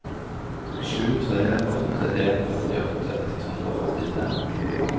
sju tre åtte en førtiåtte ett hundre og førtitre